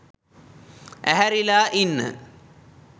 ඇහැරිලා ඉන්න